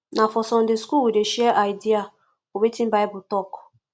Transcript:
na for sunday school we dey share idea for wetin bible tok